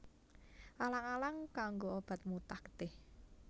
Alang alang kanggo obat mutah getih